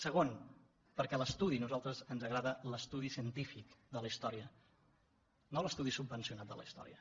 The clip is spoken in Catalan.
segon perquè a nosaltres ens agrada l’estudi científic de la històrica no l’estudi subvencionat de la història